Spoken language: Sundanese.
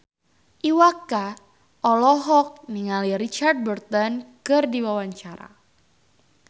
Iwa K olohok ningali Richard Burton keur diwawancara